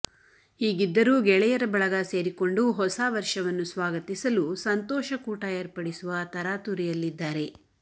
ಹೀಗಿದ್ದರೂ ಗೆಳೆಯರ ಬಳಗ ಸೇರಿಕೊಂಡು ಹೊಸ ವರ್ಷವನ್ನು ಸ್ವಾಗತಿಸಲು ಸಂತೋಷ ಕೂಟ ಏರ್ಪಡಿಸುವ ತರಾತುರಿಯಲ್ಲಿದ್ದಾರೆ